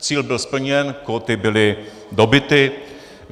Cíl byl splněn, kóty byly dobyty.